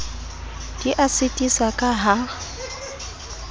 di a sitisa ka ha